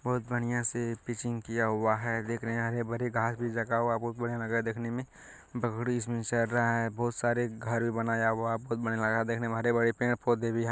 बहुत बड़िया से पिचिंग किया हुआ हैं देख रहे हैं हरे-भरे घास भी लगा हुआ हैं बहुत बड़िया लग रहा हैं देखने में बकरी इसमें चर रहा हैं बहुत सारे घर भी बनाया हुआ हैं बहुत बड़िया लग रहा हैं देखने में हरे-भरे पेड़-पौधे भी हैं।